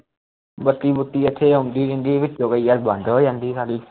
ਬੱਤੀ ਬੁਤੀ ਆਉਂਦੀ ਇੱਥੇ ਆਉਂਦੀ ਰਹਿੰਦੀ ਐ ਕਦੇ ਯਰ ਬੰਦ ਹੋ ਜਾਂਦੀ ਐ sali